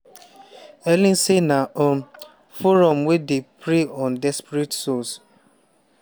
helen say na um forum wey dey "prey on desperate souls.